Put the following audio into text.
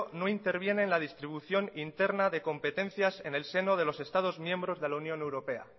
no interviene en la distribución interna de competencias en el seno de los estados miembros de la unión europea